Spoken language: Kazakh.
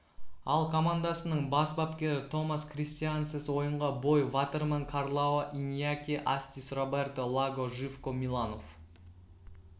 ал командасының бас бапкері томас кристиансен ойынға бой ватерман карлао иньяки астис роберто лаго живко миланов